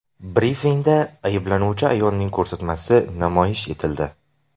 Brifingda ayblanuvchi ayolning ko‘rsatmasi namoyish etildi.